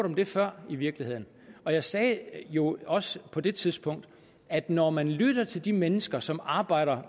om det før i virkeligheden og jeg sagde jo også på det tidspunkt at når man lytter til de mennesker som arbejder